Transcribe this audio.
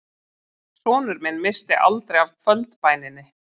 Sonur minn missti aldrei af kvöldbæninni